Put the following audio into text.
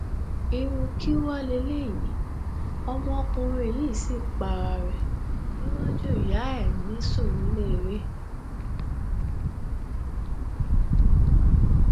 irú kí wá leléyìí ọmọkùnrin yìí sì para ẹ níwájú ìyá ẹ ní surulere